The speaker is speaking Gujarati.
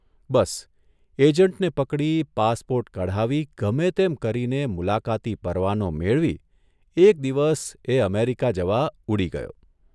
બસ, એજન્ટને પકડી પાસપોર્ટ કઢાવી ગમે તેમ કરીને મુલાકાતી પરવાનો મેળવી એક દિવસ એ અમેરિકા જવા ઉડી ગયો.